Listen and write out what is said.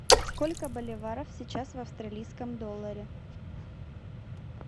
сколько боливаров сейчас в австралийском долларе